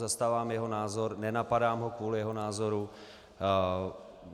Zastávám jeho názor, nenapadám ho kvůli jeho názoru.